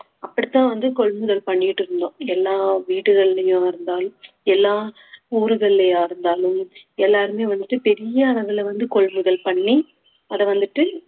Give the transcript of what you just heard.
அப்படித்தான் வந்து கொள்முதல் பண்ணிட்டு இருந்தோம் எல்லா வீடுகள்லயும் இருந்தாலும் எல்லா ஊர்கள்லயா இருந்தாலும் எல்லாருமே வந்துட்டு பெரிய அளவுல வந்து கொள்முதல் பண்ணி அத வந்துட்டு